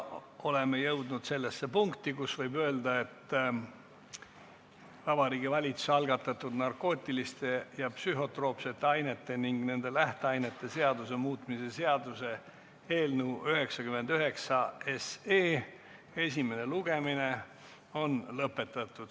Oleme jõudnud sellesse punkti, kus võib öelda, et Vabariigi Valitsuse algatatud narkootiliste ja psühhotroopsete ainete ning nende lähteainete seaduse muutmise seaduse eelnõu 99 esimene lugemine on lõpetatud.